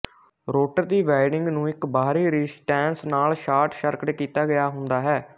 rotor ਦੀ winding ਨੂੰ ਇੱਕ ਬਾਹਰੀ ਰਜ਼ਿਸਟੈਂਸ ਨਾਲ ਸ਼ਾਰਟ ਸਰਕਟ ਕੀਤਾ ਗਿਆ ਹੁੰਦਾ ਹੈ